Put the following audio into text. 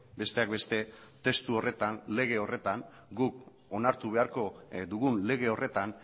besteak beste testu horretan lege horretan guk onartu beharko dugun lege horretan